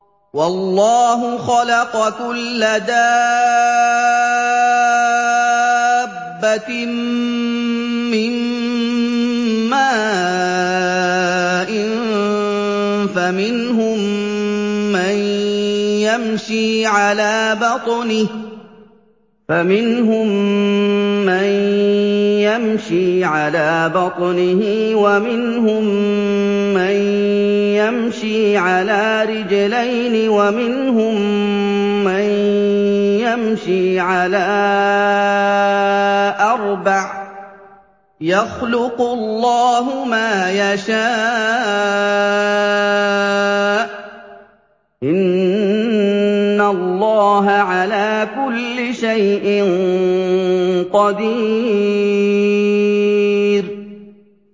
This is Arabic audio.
وَاللَّهُ خَلَقَ كُلَّ دَابَّةٍ مِّن مَّاءٍ ۖ فَمِنْهُم مَّن يَمْشِي عَلَىٰ بَطْنِهِ وَمِنْهُم مَّن يَمْشِي عَلَىٰ رِجْلَيْنِ وَمِنْهُم مَّن يَمْشِي عَلَىٰ أَرْبَعٍ ۚ يَخْلُقُ اللَّهُ مَا يَشَاءُ ۚ إِنَّ اللَّهَ عَلَىٰ كُلِّ شَيْءٍ قَدِيرٌ